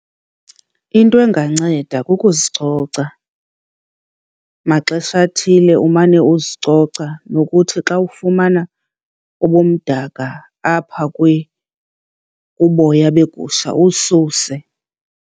Into enganceda kukuzicoca. Maxesha athile umane uzicoca, nokuthi xa ufumana ubumdaka apha kuboya beegusha uwususe.